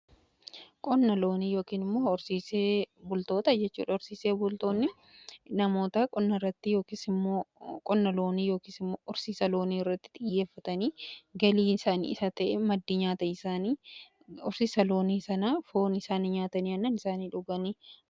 Qonni looni yookin immoo horsiisee bultoota jechuudha. Horsiisee bultoonni namoota qonna irratti yookiis immoo horsiisa loonii irratti xiyyeeffatanii galii isaanii isa ta'e maddii isaani horsiisa loonii sana foon isaan nyaatanii aannan isaanii dhuganii.